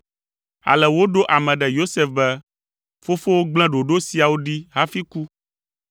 Ale woɖo ame ɖe Yosef be, “Fofowò gblẽ ɖoɖo siawo ɖi hafi ku.